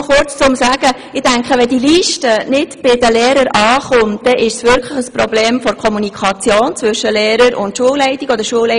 Nur kurz: Wenn die Liste nicht bei den Lehrpersonen ankommt, dann ist es wirklich ein Problem der Kommunikation zwischen Lehrer und Schulleitung oder umgekehrt.